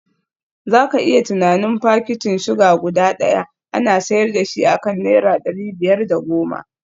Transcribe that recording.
Za ka iya tunanin fakitin suga guda daya ana sayar da shi akan naira dari biyar da goma